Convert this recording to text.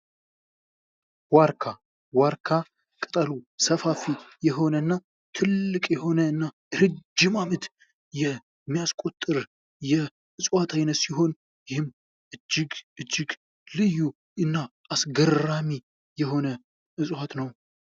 ዋርካ ዋርካ ቅጠሉ ሰፋፊ የሆነና ትልቅ የሆነ እና ረጅም አመት የሚያስቆጥር የዕጽዋት አይነት ሲሆን፤ ይህም እጅግ እጅግ ልዩ እና አስገራሚ የሆነ ዕጽዋት ነው።